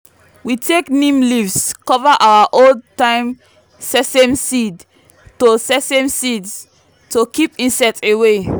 we take neem leaves cover our old-time sesame seeds to sesame seeds to keep insects away.